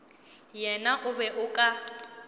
yena o be o ka